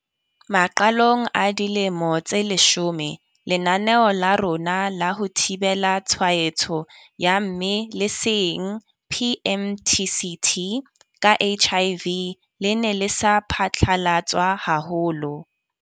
Maqalong a dilemo tse leshome, lenaneo la rona la ho thibela tshwaetso ya mme leseeng PMTCT ka HIV. Le ne le sa phatlalatswa haholo.